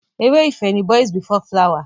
Ere ìfẹ́ ni Boys before flower.